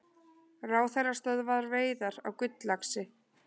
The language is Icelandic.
Ráðherra stöðvar veiðar á gulllaxi